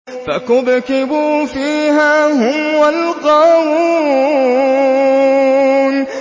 فَكُبْكِبُوا فِيهَا هُمْ وَالْغَاوُونَ